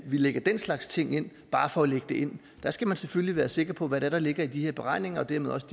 lægger den slags ting ind bare for at lægge det ind der skal man selvfølgelig være sikker på hvad det er der ligger i de her beregninger og dermed også